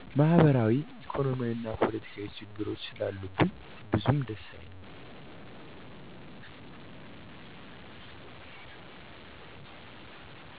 ማህበራዊ፣ ኢኮኖሚያዊ እና ፖለቲካዊ ችግሮች ስላሉብን ብዙም ደስ አይልም።